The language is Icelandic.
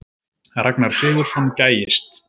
Ragnar Sigurðsson gægist.